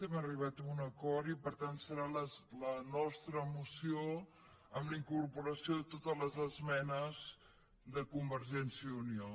hem arribat a un acord i per tant serà la nostra moció amb la incorporació de totes les esmenes de convergència i unió